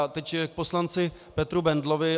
A teď k poslanci Petru Bendlovi.